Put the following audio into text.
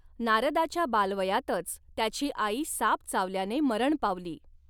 नारदाच्या बालवयातच त्याची आई साप चावल्याने मरण पावली.